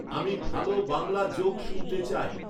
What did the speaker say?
আমি ভালো বাংলা জোক শুনতে চাই